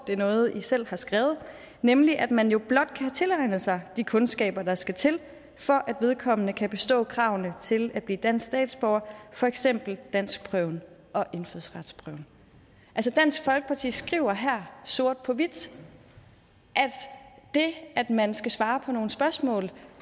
det er noget i selv har skrevet nemlig at man jo blot kan tilegne sig de kundskaber der skal til for at vedkommende kan bestå kravene til at blive dansk statsborger for eksempel danskprøven og indfødsretsprøven altså dansk folkeparti skriver her sort på hvidt at det at man skal svare på nogle spørgsmål